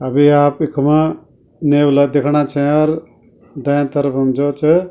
अबि आप इखमा नेवला देखणा छै अर दैया तरफम जो च --